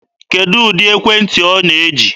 Kedụ ụdị ekwentị ọ na-eji?